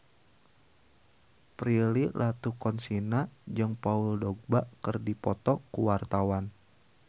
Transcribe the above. Prilly Latuconsina jeung Paul Dogba keur dipoto ku wartawan